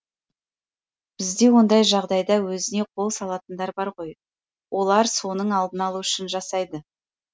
бізде ондай жағдайда өзіне қол салатындар бар ғой олар соның алдын алу үшін жасайды